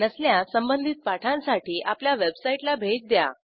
नसल्यास संबधित पाठांसाठी आपल्या वेबसाईटला भेट द्या